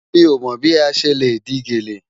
Mi o mọ́ bí a ṣẹ́ le dì gẹlẹ́.